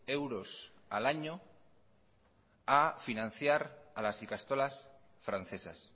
euros al año a financiar a las ikastolas francesas